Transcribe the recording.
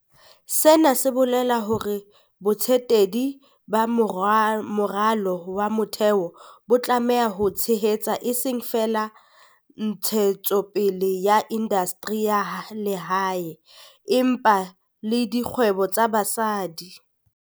Hona ho bolela hore botsetedi ba moralo wa motheo bo tlameha ho tshehetsa eseng feela ntshetsopele ya indastri ya lehae, empa le dikgwebo tsa basadi.